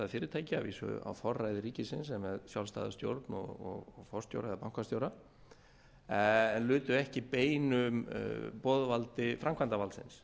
fyrirtæki að vísu á forræði ríkisins en með sjálfstæða stjórn og forstjóra eða bankastjóra lutu ekki beinu boðvaldi framkvæmdarvaldsins